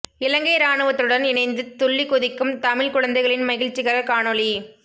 இலங்கை இராணுவத்துடன் இணைந்து துள்ளிக் குதிக்கும் தமிழ் குழந்தைகளின் மகிழ்ச்சிகர காணொளி